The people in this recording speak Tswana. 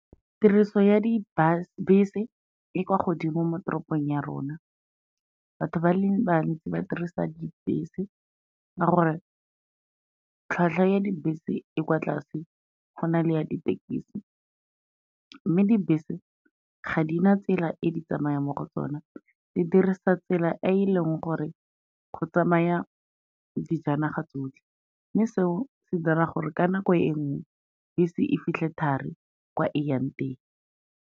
Tiriso ya di bese e kwa godimo mo teropong ya rona, batho ba le bantsi ba dirisa dibese ka gore tlhwatlhwa ya dibese e kwa tlase go na le ya ditekisi. Mme dibese ga di na tsela e di tsamayang mo go tsona, di dirisa tsela e e leng gore go tsamaya dijanaga tsotlhe, mme seo se dira gore ka nako e nngwe bese e fitlhe thari kwa e yang teng.